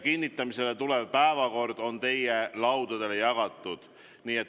Kinnitamisele tulev päevakord on teie laudadele jagatud.